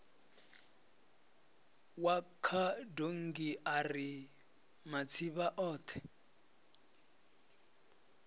wa khadonngi ari matsivha othe